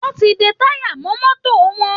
Wọn ti ń de táyà mọ́ mọ́tò wọn